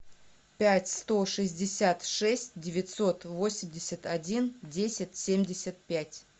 пять сто шестьдесят шесть девятьсот восемьдесят один десять семьдесят пять